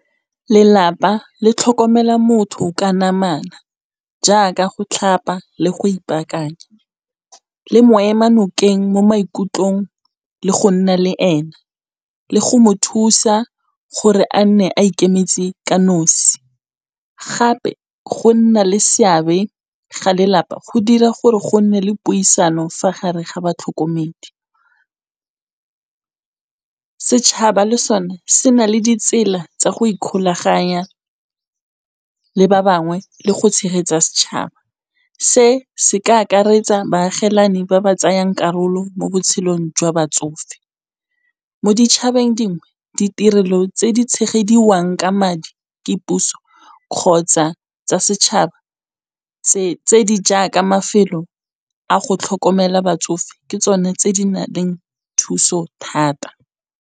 Lelapa le tlhokomela motho ka namana, jaaka go tlhapa le go ipaakanya. Le mo ema nokeng mo maikutlong le go nna le ena, le go mo thusa gore a nne a ikemetse ka nosi, gape go nna le seabe ga lelapa go dira gore go nne le puisano fa gare ga batlhokomedi. Setšhaba le sone se na le ditsela tsa go ikgolaganya le ba bangwe le go tshegetsa setšhaba, se se ka akaretsa baagelani ba ba tsayang karolo mo botshelong jwa batsofe, mo ditšhabeng dingwe ditirelo tse di tshegediwang ka madi ke puso kgotsa tsa setšhaba tse di jaaka mafelo a go tlhokomela batsofe ke tsone tse di na leng thuso thata.